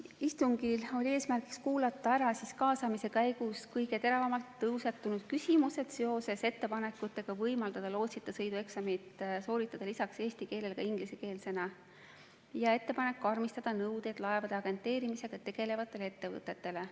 Istungil oli eesmärk kuulata ära kaasamise käigus kõige teravamalt tõusetunud küsimused seoses ettepanekutega võimaldada lootsita sõidu eksamit sooritada lisaks eesti keelele ka ingliskeelsena, samuti ettepanek karmistada nõudeid laevade agenteerimisega tegelevatele ettevõtetele.